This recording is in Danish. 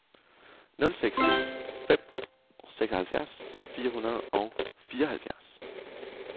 nul seks ni fem seksoghalvfjerds fire hundrede og fireoghalvfjerds